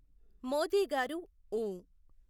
మోదీ గారు ఊఁ.